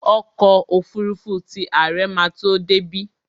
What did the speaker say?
Ọkọ́ òfurufú ti àre ma tó débí.